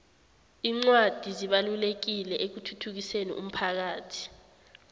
incwadi zibalulekile ekuthuthukiseni umphakhathi